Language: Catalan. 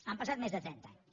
han passat més de trenta anys